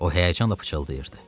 O həyəcanla fısıldayırdı.